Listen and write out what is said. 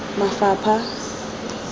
mafapha